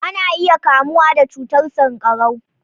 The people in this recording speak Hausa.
Ana iya kamuwa da cutar sankarau.